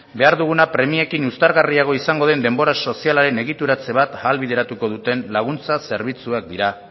behar duguna premiekin uztargarriago izango den denbora sozialaren egituratze bat ahalbideratuko duten laguntza zerbitzuak dira